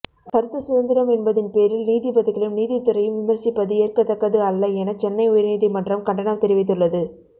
கருத்து சுதந்திரம் என்பதின் பேரில் நீதிபதிகளையும் நீதித்துறையும் விமர்சிப்பது ஏற்கத்தக்கது அல்ல என சென்னை உயர் நீதிமன்றம் கண்டனம் தெரிவித்துள்ளது